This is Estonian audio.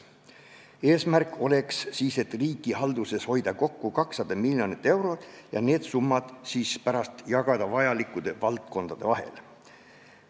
Eesmärk oleks hoida riigihalduses kokku 200 miljonit eurot ja see summa pärast jagada vajalikkude valdkondade vahel.